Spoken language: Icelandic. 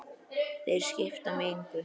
Þeir skipta mig engu.